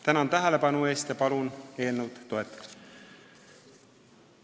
Tänan tähelepanu eest ja palun eelnõu toetada!